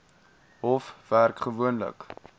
hof werk gewoonlik